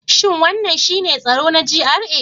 Shin wannan shine tsaro na GRA?